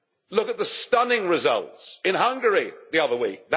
Look at the stunning results in Hungary the other week.